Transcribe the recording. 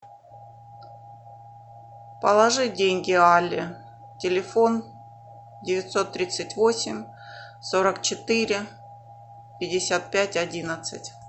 положи деньги алле телефон девятьсот тридцать восемь сорок четыре пятьдесят пять одиннадцать